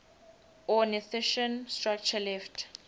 ornithischian structure left